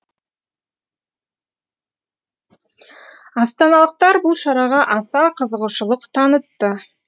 астаналықтар бұл шараға аса қызығушылық танытты